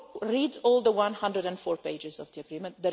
Read all the 104 pages of the agreement